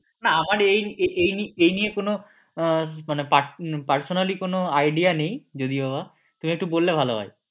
না আমার এই নিয়ে কোন মানে personally কোন idea নেই এটা একটু বললে ভালো হয়